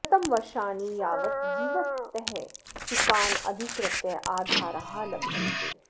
शतं वर्षाणि यावत् जीवतः शुकान् अधिकृत्य आधाराः लभ्यन्ते